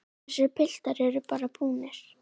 Þessir piltar eru bara búnir.